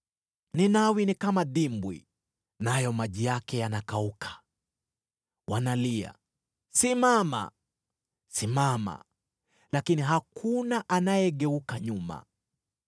Ninawi ni kama dimbwi, nayo maji yake yanakauka. Wanalia, “Simama! Simama!” Lakini hakuna anayegeuka nyuma.